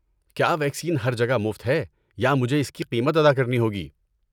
کیا ویکسین ہر جگہ مفت ہے یا مجھے اس کی قیمت ادا کرنی ہوگی؟